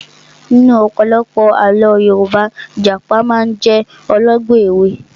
Nínú ọ̀pọ̀lọpọ̀ àlọ́ Yorùbá, Ìjàpá máa ń jẹ́ olọ́gbọ́n ẹ̀wẹ́